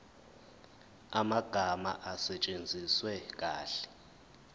amagama asetshenziswe kahle